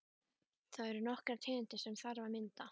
Það eru nokkrar tegundir sem þarf að mynda.